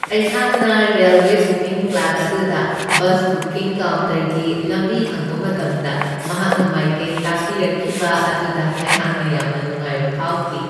ꯑꯩꯍꯥꯛꯅ railway booking clerk ꯑꯗꯨꯗ ꯕꯁ ꯕꯨꯀꯤꯡ ꯀꯥꯎꯟꯇꯔꯒꯤ ꯂꯝꯕꯤ ꯍꯪꯕ ꯃꯇꯝꯗ ꯃꯍꯥꯛꯅ ꯃꯥꯏꯀꯩ ꯇꯥꯛꯄꯤꯔꯛꯈꯤꯕ ꯑꯗꯨꯗ ꯑꯩꯍꯥꯛꯅ ꯌꯥꯝꯅ ꯅꯨꯡꯉꯥꯏꯕ ꯐꯥꯎꯈꯤ ꯫